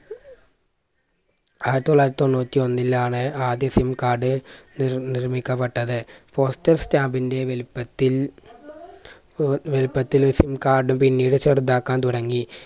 ആയിരത്തി തൊള്ളായിരത്തി തൊണ്ണൂറ്റിയൊന്നിലാണ് ആദ്യ SIM card നിർ നിർമ്മിക്കപ്പെട്ടത്. postal stamb ന്റെ വലിപ്പത്തിൽ ഏർ വലിപ്പത്തില് SIM card പിന്നീട് ചെറുതാക്കാൻ തുടങ്ങി